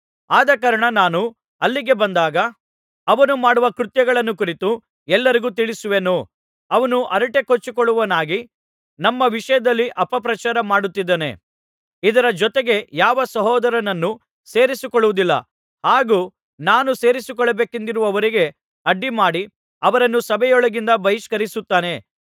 ಆದಕಾರಣ ನಾನು ಅಲ್ಲಿಗೆ ಬಂದಾಗ ಅವನು ಮಾಡುವ ಕೃತ್ಯಗಳನ್ನು ಕುರಿತು ಎಲ್ಲರಿಗೂ ತಿಳಿಸುವೆನು ಅವನು ಹರಟೆಕೊಚ್ಚುವವನಾಗಿ ನಮ್ಮ ವಿಷಯದಲ್ಲಿ ಅಪ ಪ್ರಚಾರ ಮಾಡುತ್ತಿದ್ದಾನೆ ಇದರ ಜೊತೆಗೆ ಯಾವ ಸಹೋದರರನ್ನು ಸೇರಿಸಿಕೊಳ್ಳುವುದಿಲ್ಲ ಹಾಗೂ ನಾನು ಸೇರಿಸಿಕೊಳ್ಳಬೇಕೆಂದಿರುವವರಿಗೆ ಅಡ್ಡಿಮಾಡಿ ಅವರನ್ನು ಸಭೆಯೊಳಗಿಂದ ಬಹಿಷ್ಕರಿಸುತ್ತಾನೆ